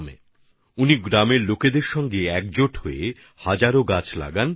তিনি সেই সমস্ত এলাকার গ্রামের মানুষের সঙ্গে মিলে হাজার হাজার গাছ লাগিয়ে ফেলেন